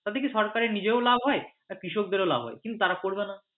তাতে কি সরকারের নিজের লাভ হয় আর কৃষকদেরও লাভ হয় তারা করবে না।